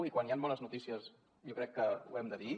i quan hi han bones notícies jo crec que ho hem de dir